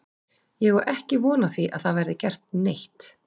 Ég á ekki von á því að það verði gert neitt.